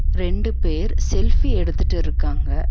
ரெண்டு பேர் செல்ஃபி எடுத்துட்டு இருக்காங்க.